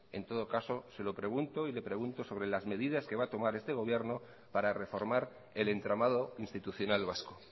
en todo caso se lo pregunto y le pregunto sobre las medidas que va a tomar este gobierno para reformar el entramado institucional vasco